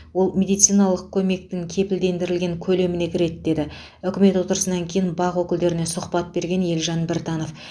ол медициналық көмектің кепілдендірілген көлеміне кіреді деді үкімет отырысынан кейін бақ өкілдеріне сұхбат берген елжан біртанов